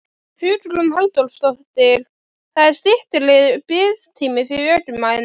Hugrún Halldórsdóttir: Það er styttri biðtími fyrir ökumenn?